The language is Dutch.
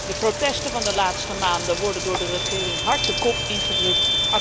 De protesten van de laatste maanden worden door de regering hard de kop ingedrukt.